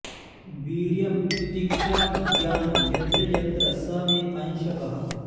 वीर्यं तितिक्षा विज्ञानं यत्र यत्र स मे अंशकः